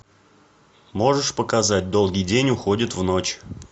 можешь показать долгий день уходит в ночь